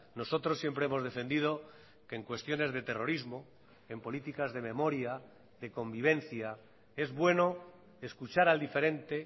nosotros siempre hemos defendido que en cuestiones de terrorismo en políticas de memoria de convivencia es bueno escuchar al diferente